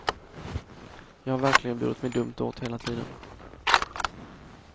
Jag har verkligen burit mig dumt åt hela tiden.